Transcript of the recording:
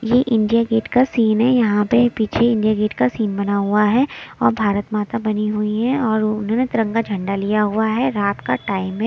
ये India gate का scene है यहां पे पीछे इंडिया गेट का सीन बना हुआ है और भारत माता बनी हुई हैं और उन्होंने तिरंगा झंडा लिया हुआ है रात का टाइम है।